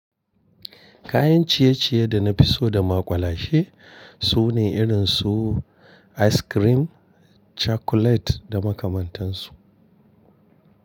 Kayan ciye-ciye da na fi so da maƙwalashe su ne irin su ice cream, chocolate da makamantansu.